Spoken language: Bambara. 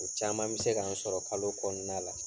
O caman mi se k'an sɔrɔ kalo kɔnɔna la.